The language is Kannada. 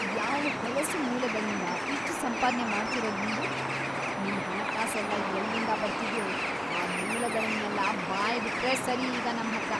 ಯಾವ್ ಹೊಲಸು ಮೂಲಗಳಿಂದ ಇಷ್ಟ್ ಸಂಪಾದ್ನೆ ಮಾಡ್ತಿರೋದ್ ನೀವು?‌ ನಿಮ್ ಹಣಕಾಸೆಲ್ಲ ಎಲ್ಲಿಂದ ಬರ್ತಿದ್ಯೋ ಆ ಮೂಲಗಳ್ನೆಲ್ಲ ಬಾಯ್ಬಿಟ್ರೆ ಸರಿ ಈಗ್ ನಮ್ಹತ್ರ.